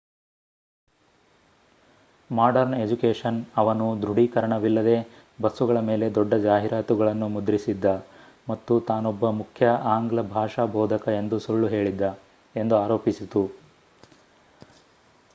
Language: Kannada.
ಮಾಡರ್ನ್ ಎಜುಕೇಷನ್ ಅವನು ದೃಢೀಕರಣವಿಲ್ಲದೇ ಬಸ್ಸುಗಳ ಮೇಲೆ ದೊಡ್ಡ ಜಾಹೀರಾತುಗಳನ್ನು ಮುದ್ರಿಸಿದ್ದ ಮತ್ತು ತಾನೊಬ್ಬ ಮುಖ್ಯ ಆಂಗ್ಲ ಭಾಷಾ ಬೋಧಕ ಎಂದು ಸುಳ್ಳು ಹೇಳಿದ್ದ ಎಂದು ಅರೋಪಿಸಿತು